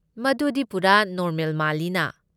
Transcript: ꯃꯗꯨꯗꯤ ꯄꯨꯔꯥ ꯅꯣꯔꯃꯦꯜ ꯃꯥꯜꯂꯤꯅ꯫